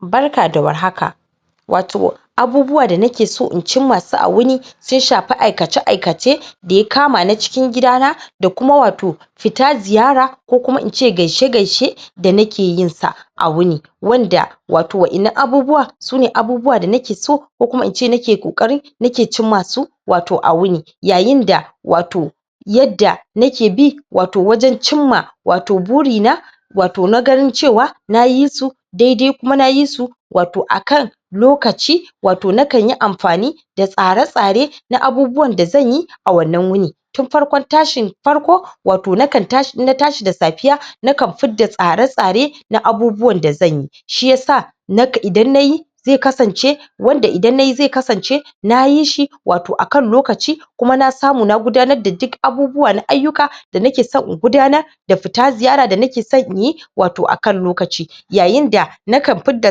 Barka da war haka Wato abubuwa na ke so in cinma su a wuni sai shafa aikace aikace da ya kama na cikin gidana da kuma wato fita ziyara ko kuma ince gaishe gaishe da nake yin sa a wuni, wanda wato ina abubuwa su ne abubuwa da nake so, ko kuma in ce da na ke kokari na ke cinma su wato a wuni, yayin da wato yadda nake bi, wato wajen cinma, wato buri na, wato na ganin cewa, na yisu, daidai kuma na yisu wato akan lokaci wato na kanyi amfani da tsare-tsare na abubuwan da zan yi a wannan wuni. Tun farkon tashi farko wato nakan tashi in na tashi da safeeya, na kan fida tsare-tsare na abubuwan da zan yi. Shi ya sa, idan na yi, zai kasance wanda idan nayi zai kasance na yi shi wato akan lokaci kuma na samu na gudanar da duk abubuwa na ayuka da na ke so in gudanar da fita ziyara da na ke so inyi, wato aka lokaci yayin da na kan fit da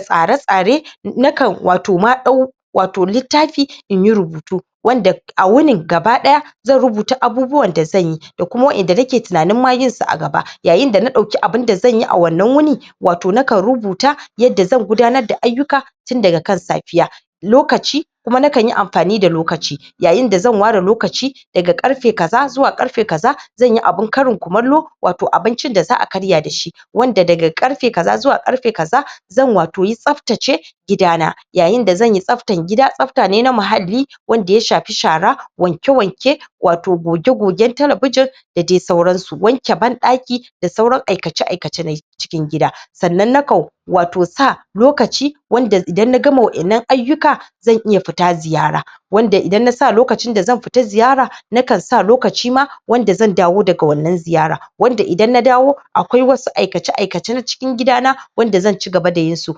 tsare-tsare, na kan wato ma dau, wato littafi inyi rubutu, wanda a wuni gabadaya zan rubuta abubuwan da zan yi da kuma wanda da nake tunanin ma yin su a gaba, yayin da na dauki abun da zan yi a wannan wuni, wato na kan rubuta yadda zan gudanar da ayuka tun daga kan safeeya, lokaci kuma na kan yi amfani da lokaci, yayin da zan wara lokaci da ga karfe kaza zuwa karfe kaza zan yi abun karin kumalu wato abincin da zaa karya da shi, wanda da ga karfe kaza zuwa karfe kaza, zan wato yi sabtace gidana. Yayin da zanyi sabtan gida sabta ne na mahadi wanda ya shafi shara, wanke-wanke, wato goge-goge telebijin da de sauran su, wanke bandaki da sauran aikace aikace na cikin gida, sannan nakau wato sa lokacin wanda idan na gama waennan ayuka zan iya fita ziyara wanda idan ina sa lokaci da zan fita ziyara na kan sa lokaci ma, wanda zan dawo da ga wannan ziyara, wanda idan na dawo akwai wasu aikace aikace na cikin gidana wanda zan cigaba da yin su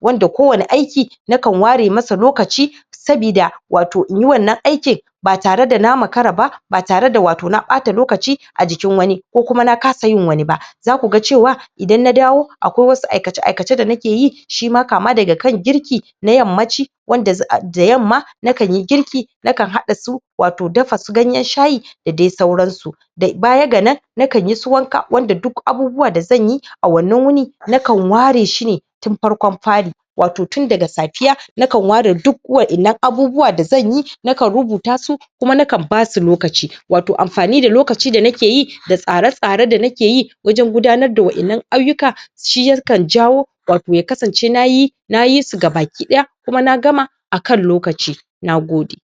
wanda kowane aiki, na kan ware masa lokaci sabida wato inyi wannan aikin ba tare da na makara ba, ba tare da wato na bata lokaci a jikin wani ko kuma na kasa yin wani ba za ku ga cewa, idan na dawo, akwai waen su aikace aikace da na ke yi, shi ma ka ma daga kan girki na yamma ci wanda da yamma, na kan yi girki, na kan hadda su wato dafa su ganyen shayi da dai sauran su. Da baya gana, nakan yi su wanka wanda duk abubuwa da zan yi, a wannan wuni na kan ware shi ne tun farkon fari wato tun daga safeeya, na kan ware duk waennan abubuwa da zan yi, na kan rubuta su, kuma nakan basu lokaci wato amfani da lokaci da nakeyi da tsare-tsare da nakeyi wajen gudanar da waennan ayuka shi yankan jawa, wato ya kasance na yi, na yi su gabakidaya kuma na gama akan lokaci, nagode.